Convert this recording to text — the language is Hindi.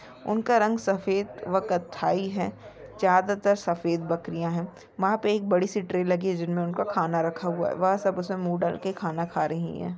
उनका रंग सफ़ेद व कत्थई है ज्यादातर सफ़ेद बकरियाँ है वहाँ पे एक बड़ी सी ट्रे लगी है जिनमें उनका खाना रखा हुआ है वह सब उमसे मुंह डाल के कहना का रही है।